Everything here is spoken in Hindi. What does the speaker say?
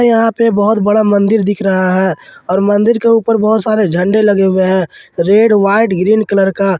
यहां पे बहुत बड़ा मंदिर दिख रहा है और मंदिर के ऊपर बहुत सारे झंडे लगे हुए हैं रेड व्हाइट ग्रीन कलर का।